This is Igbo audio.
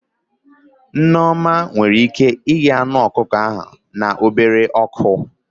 Nneoma nwere ike ighe anụ ọkụkọ ahụ na obele ọkụ